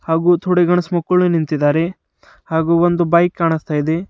ಹಾಗೂ ನಿಂತಿದ್ದಾರೆ ಹಾಗೂ ಒಂದು ಬೈಕ್ ಕಾಣಿಸ್ತದೆ.